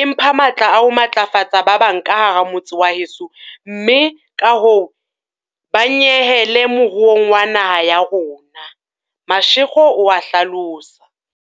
e mpha matla a ho matlafatsa ba bang ka hara motse wa heso mme kahoo ba nyehele moruong wa naha ya rona," Mashego o a hlalosa.